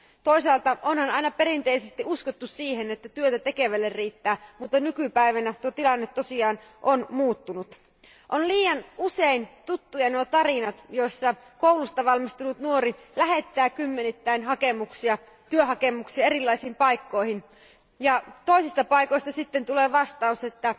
Toisaalta onhan aina perinteisesti uskottu siihen, että työtä tekevälle riittää, mutta nykypäivänä tuo tilanne tosiaan on muuttunut. Liian usein tuttuja ovat tarinat, joissa koulusta valmistunut nuori lähettää kymmenittäin työhakemuksia erilaisiin paikkoihin ja toisista paikoista sitten tulee vastaus, että